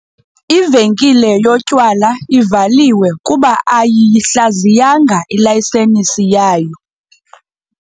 Ivenkile yotyala ivaliwe kuba ayiyihlaziyanga ilayisensi yayo.